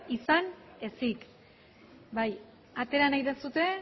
izan ezik bai atera nahi duzue